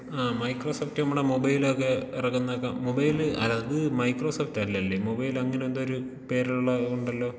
ആഹ് Microsoft നമ്മുടെ മൊബൈലൊക്കെ എറക്കുന്ന മൊബൈല് അല്ല ഇത് മൈക്രോ സോഫ്റ്റ് അല്ലല്ലേ മൊബൈല് അങ്ങനെ എന്തോ ഒരു പേരുള്ളാ ഉണ്ടല്ലോ.